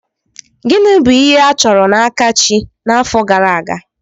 Gịnị bụ ihe a chọrọ n'aka chi n'afọ gara aga?